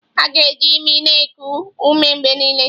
A ga-eji imi na-eku ume mgbe niile.